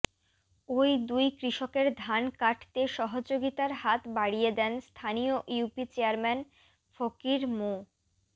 ওই দুই কৃষকের ধান কাটতে সহযোগিতার হাত বাড়িয়ে দেন স্থানীয় ইউপি চেয়ারম্যান ফকির মো